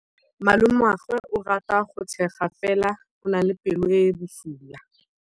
Malomagwe o rata go tshega fela o na le pelo e e bosula.